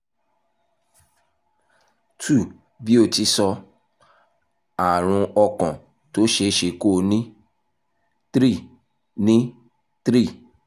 two bí o ti sọ - àrùn ọkàn tó ṣeé ṣe kó ní three ní three